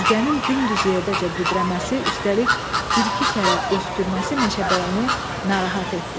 Ürgənin dümdüz yerdəcə büdrəməsi, üstəlik bir-iki kərə öskürməsi meşəbəyini narahat etdi.